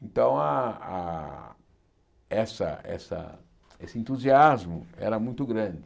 Então, ah ah essa essa esse entusiasmo era muito grande.